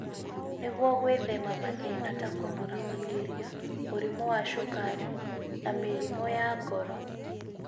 nĩguo gwĩthema mathĩna ta kũnora makĩria, mũrimũ wa cukari, na mĩrimũ ya ngoro.